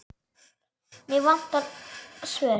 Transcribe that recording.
Mig vantar svör.